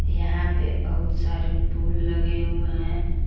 यहां पे बहुत सारे फूल लगे हुए है।